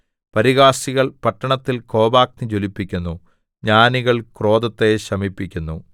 പരിഹാസികൾ പട്ടണത്തിൽ കോപാഗ്നി ജ്വലിപ്പിക്കുന്നു ജ്ഞാനികൾ ക്രോധത്തെ ശമിപ്പിക്കുന്നു